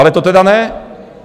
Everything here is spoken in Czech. Ale to tedy ne.